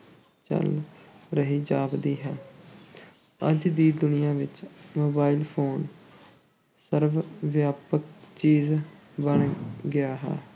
ਚੱਲ ਰਹੀ ਜਾਪਦੀ ਹੈ ਅੱਜ ਦੀ ਦੁਨੀਆ ਵਿੱਚ mobile phone ਸਰਬ-ਵਿਆਪਕ ਚੀਜ਼ ਬਣ ਗਿਆ ਹੈ।